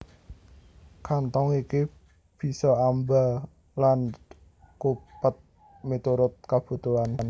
Kanthong iki bisa amba lan cupet miturut kabutuhan